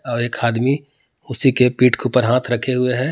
और एक हादमी उसी के पीठ के ऊपर हाथ रखे हुए हैं।